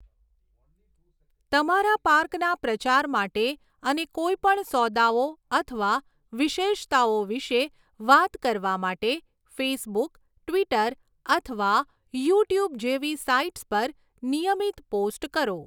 તમારા પાર્કના પ્રચાર માટે અને કોઈ પણ સોદાઓ અથવા વિશેષતાઓ વિશે વાત કરવા માટે ફેસબુક, ટ્વિટર અથવા યુટ્યુબ જેવી સાઇટ્સ પર નિયમિત પોસ્ટ કરો.